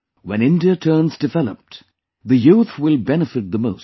When India turns developed, the youth will benefit the most